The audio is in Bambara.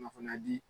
Kunnafoniya di